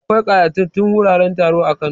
Akwai ƙayatatattun wuraren taro a Kano.